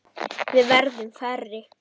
Við verðum færri.